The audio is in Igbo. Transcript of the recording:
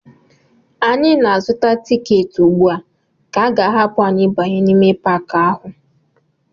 Anyị na-azụta tiketi ugbu a ka a ga-ahapụ anyị ịbanye n'ime Paakị ahụ